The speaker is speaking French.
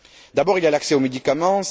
D'abord, il y a l'accès aux médicaments.